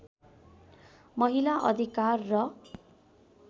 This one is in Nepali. महिला अधिकार र